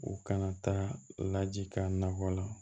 U kana taa laji ka nakɔ la